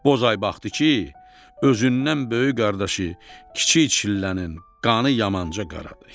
Bozay baxdı ki, özündən böyük qardaşı Kiçik Çillənin qanı yamanca qaradı.